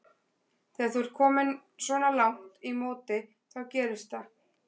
Þegar þú ert kominn svona langt í móti þá gerist það.